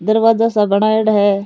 दरवाजा सा बनाई डा है।